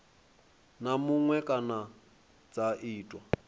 na muṅwe kana dza tiwa